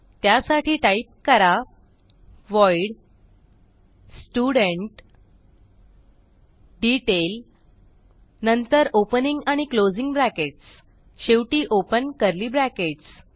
त्यासाठी टाईप करा void student detail नंतर ओपनिंग आणि क्लोजिंग ब्रॅकेट्स शेवटी ओपन कर्ली ब्रॅकेट्स